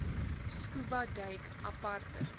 scuba duik aparte